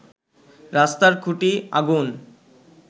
রাস্তার খুটি আগুন